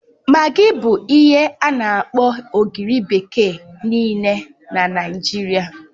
Magi bụ ihe ana-akpọ ogiri bekee nịịle n'Naijiria